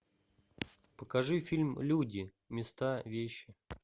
покажи фильм люди места вещи